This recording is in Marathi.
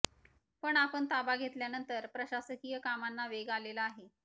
पण आपण ताबा घेतल्यानंतर प्रशासकीय कामांना वेग आलेला आहे